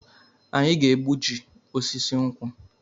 Anyị ga-egbuji osisi nkwụ